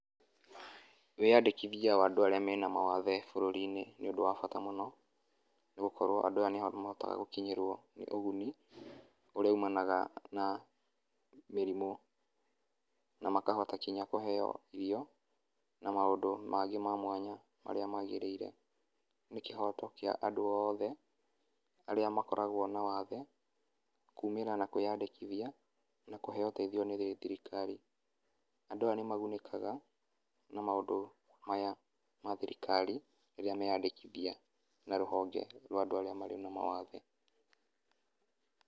Wĩyandikithia wa andũ arĩa mena mawathe bũrũrini ni ũndũ wa bata muno, nĩgũkorwo andũ aya nĩmahotaga nĩgũkinyĩrwo nĩ uguni ũria umanaga na mĩrimũ, na makahota kinya kuheo irio na maundũ mangĩ ma mwanya mariá magĩrĩire. Ni kĩhoto kĩa andũ oothe arĩa makoragwo na wathe, kumĩra na kwĩyandĩkĩthia na kuheo úteithio nĩ thirikari. andu aya nimagunĩkaga na maũndu maya ma thirikari, rĩrĩa meyandĩkithia na rũhonge rwa andũ arĩa marĩ na mawathe.